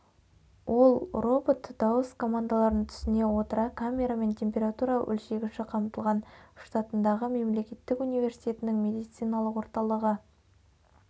ол робот дауыс командаларын түсіне отыра камерамен температура өлшегіші қатмылған штатындағы мемлекеттік университетінің медициналық орталығы